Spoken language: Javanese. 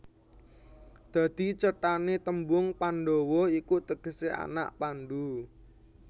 Dadi cethané tembung Pandhawa iku tegesé anak Pandhu